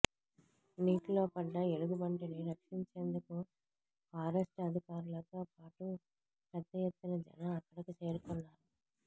నీటిలో పడ్డ ఎలుగుబంటిని రక్షించేందుకు ఫారెస్ట్ అధికారులతో పాటు పెద్ద ఎత్తున జనం అక్కడకు చేరుకున్నారు